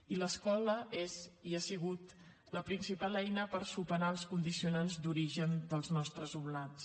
i l’escola és i ha sigut la principal eina per superar els condicionants d’origen dels nostres alumnats